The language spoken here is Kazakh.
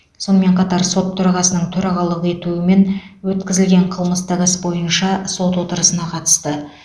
сонымен қатар сот төрағасының төрағалық етуімен өткізілген қылмыстық іс бойынша сот отырысына қатысты